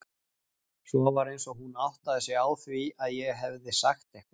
Svo var eins og hún áttaði sig á því að ég hefði sagt eitthvað.